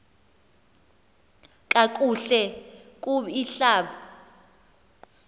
kakuhle kub ihlab